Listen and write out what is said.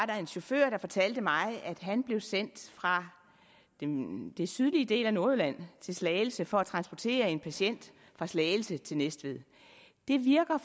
der en chauffør der fortalte mig at han blev sendt fra den den sydlige del af nordjylland til slagelse for at transportere en patient fra slagelse til næstved det virker